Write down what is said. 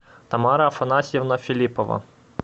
тамара афанасьевна филиппова